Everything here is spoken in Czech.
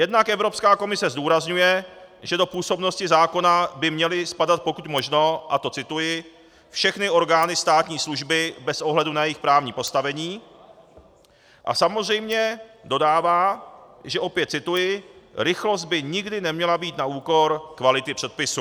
Jednak Evropská komise zdůrazňuje, že do působnosti zákona by měly spadat pokud možno, a to cituji "všechny orgány státní služby bez ohledu na jejich právní postavení", a samozřejmě dodává, že - opět cituji "rychlost by nikdy neměla být na úkor kvality předpisu".